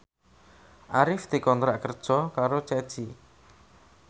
Arif dikontrak kerja karo Ceci